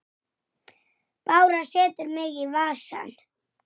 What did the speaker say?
Ég læt miðann fylgja með.